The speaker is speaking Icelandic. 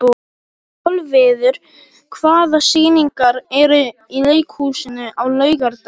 Kolviður, hvaða sýningar eru í leikhúsinu á laugardaginn?